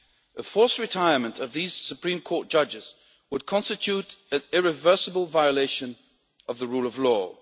A forced retirement of these Supreme Court judges would constitute an irreversible violation of the rule of law.